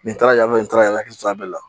Nin taara yan fɛ nin taara n hakili to a bɛɛ la